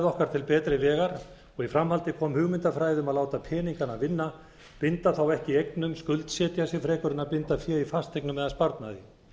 okkar til betri vegar og í framhaldi kom hugmyndafræði um að láta peningana vinna binda þá ekki í eignum skuldsetja sig frekar en að binda fé í fasteignum eða sparnaði